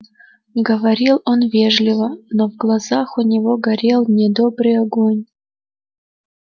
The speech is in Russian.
говорил он вежливо но в глазах у него горел недобрый огонь